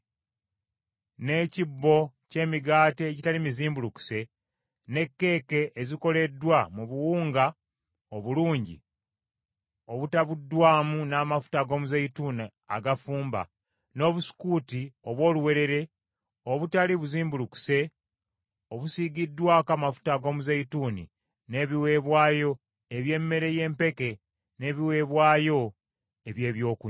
n’ekibbo ky’emigaati egitali mizimbulukuse; ne kkeeke ezikoleddwa mu buwunga obulungi obutabuddwamu n’amafuta ag’omuzeeyituuni agafumba; n’obusukuuti obw’oluwewere obutali buzimbulukuse obusiigiddwako amafuta ag’omuzeeyituuni, n’ebiweebwayo eby’emmere y’empeke n’ebiweebwayo eby’ebyokunywa.